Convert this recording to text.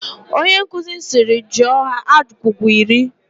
Onye nkuzi sịrị "jụọ ha agwụgwa iri"!